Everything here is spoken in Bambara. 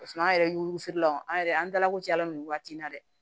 Paseke an yɛrɛ y'u wusilaw an yɛrɛ an dala ko caya la nin waati in na dɛ